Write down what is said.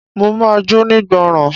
Mo ma jónígbọràn.